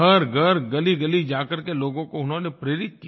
घरघर गलीगली जाकर के लोगों को उन्होंने प्रेरित किया